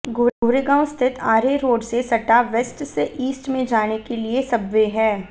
गोरेगांव स्थित आरे रोड से सटा वेस्ट से ईस्ट में जाने के लिए सबवे है